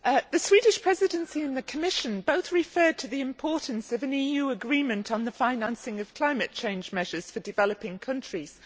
Mr President, the Swedish Presidency and the Commission both refer to the importance of an EU agreement on the financing of climate change measures for developing countries.